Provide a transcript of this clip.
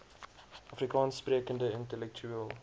afrikaans sprekende intellektueel